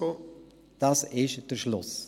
Das ist der Schluss.